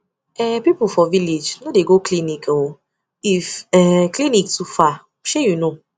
um people for village no dey go clinic um if um clinic too far shey you know